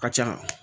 A ka ca